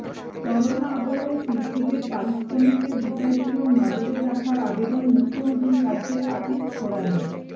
corona আবহে শিল্পীদের পারিশ্রমিকের বিষয়টিও নজরে রাখার আবেদন মুখ্যমন্ত্রীর কাছে আর্টিস্ট ফোরামের